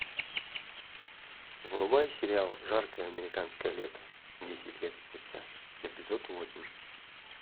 врубай сериал жаркое американское лето десять лет спустя эпизод восемь